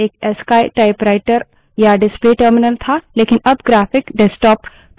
terminal पहले एक ascii typewriter या display terminal था